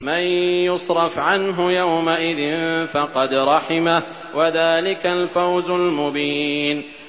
مَّن يُصْرَفْ عَنْهُ يَوْمَئِذٍ فَقَدْ رَحِمَهُ ۚ وَذَٰلِكَ الْفَوْزُ الْمُبِينُ